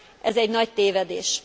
Ez egy nagy tévedés!